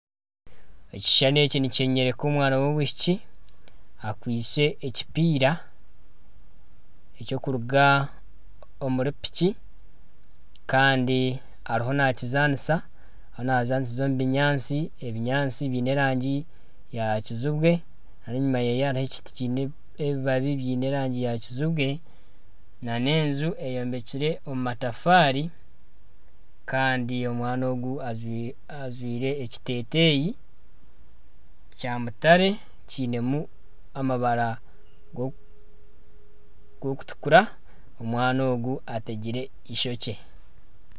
Ekishushani eki nikyoreka omwana w'omwishiki akwaitse ekipiira ekirikuruga omuri piki kandi ariho nakizanisa ariyo naazanisiza omu binyaatsi, ebinyatsi biine erangi eya kizibwe kandi enyuma ye hariyo ekiti kiine ebibabi biine erangi ya kizibwe nana enju etombekire omu matafaari kandi omwana ogu ajwaire ekiteteyi kya mutare kiinemu amabara g'okutukura omwana ogu ategire eishokye